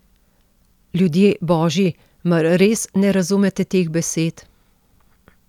Ljudje božji, mar res ne razumete teh besed?